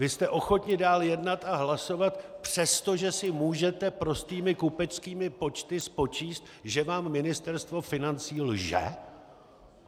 Vy jste ochotni dál jednat a hlasovat, přestože si můžete prostými kupeckými počty spočítat, že vám Ministerstvo financí lže?